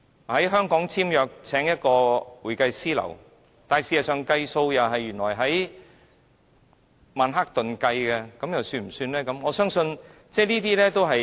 在香港簽約，聘請一家會計師事務所，但原來結帳的地點是在曼克頓，這樣又算不算呢？